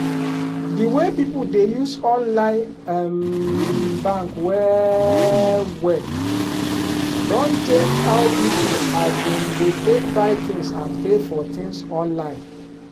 di way people dey use online um bank well well don change how people um dey take buy things and pay for things online.